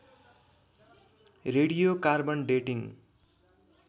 radio carbon dating